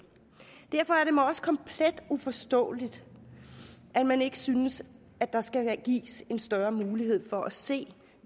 derfor er det mig også komplet uforståeligt at man ikke synes at der skal gives en større mulighed for at se